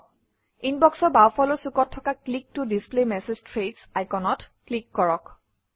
ইনবক্সৰ বাওঁফালৰ চুকত থকা ক্লিক ত ডিছপ্লে মেছেজ থ্ৰেডছ আইকনত ক্লিক কৰক